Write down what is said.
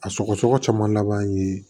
A sɔgɔsɔgɔ caman laban an ye